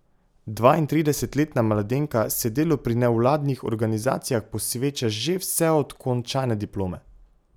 Dvaintridesetletna mladenka se delu pri nevladnih organizacijah posveča že vse od končane diplome.